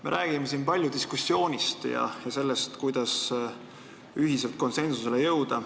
Me räägime siin palju diskussioonist ja sellest, kuidas konsensusele jõuda.